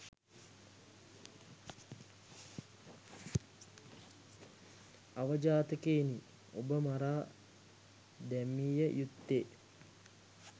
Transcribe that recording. අවජාතකයිනි ඔබ මරා දැමිය යුත්තේ